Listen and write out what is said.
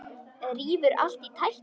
Rífur allt í tætlur.